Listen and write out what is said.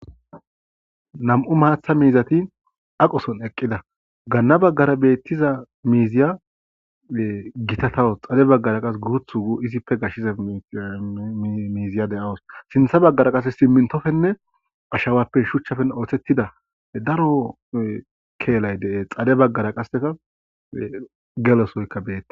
Nam'u matha miizati aqo Sohon eqida gana bagara diza miiziya gatatawus xade bagara qase issipe gashetiza sinthe bagara ashawapene shuchape woyko simintope oothetida kelay de'es xade bagara qase gelo soy des